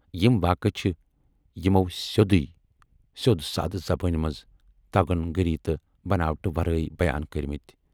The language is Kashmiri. یِم واقعہٕ چھِ یِمَو سیودٕوے سٮ۪ود سادٕ زبٲنۍ منز تگن گٔری تہٕ بناوٹہٕ ورٲے بیان کٔرۍمٕتۍ۔